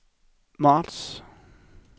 marts